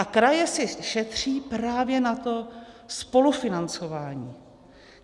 A kraje si šetří právě na to spolufinancování.